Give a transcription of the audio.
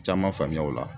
Caman faamuya o la